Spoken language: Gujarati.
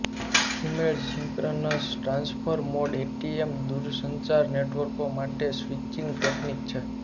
સુમેળ સિંક્રનસ ટ્રાન્સફર મોડ એટીએમ દૂરસંચાર નેટવર્કો માટે સ્વિચિંગ ટેકનિક છે